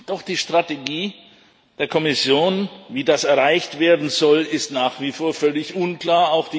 Doch die Strategie der Kommission, wie das erreicht werden soll, ist nach wie vor völlig unklar.